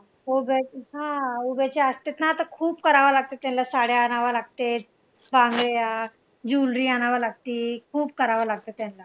उभ्याच्या असतात ना तर खूप करावं लागतं त्यांला साड्या आणाव्या लागते, बांगड्या jewellery आणावं लागती, खूप करावं लागते त्यांला.